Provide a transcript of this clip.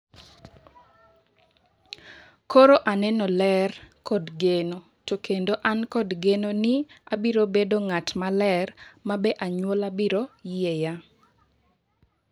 "Koro aneno ler kod geno, to kendo an kod geno ni abiro bedo ng'at maler ma be anyuola biro yieya."